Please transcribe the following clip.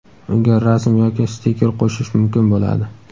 unga rasm yoki stiker qo‘shish mumkin bo‘ladi.